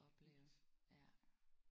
Vildt